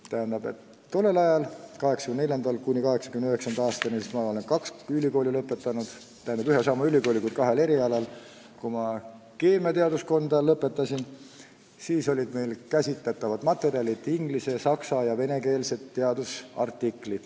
Ma olen ühe ja sama ülikooli kaks korda lõpetanud, 1984. ja 1989. aastal ja kahel erialal, ning tollel ajal, kui ma õpingud keemiateaduskonnas lõpetasin, olid käsitletavad materjalid inglis-, saksa- ja venekeelsed teadusartiklid.